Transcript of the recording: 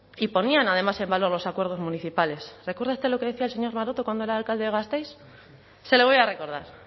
y ponían además en valor los acuerdos municipales recuerda usted lo que decía el señor maroto cuando era alcalde de gasteiz se lo voy a recordar